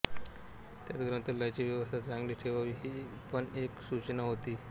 त्यात ग्रंथालयाची व्यवस्था चांगली ठेवावी ही पण एक सूचना होती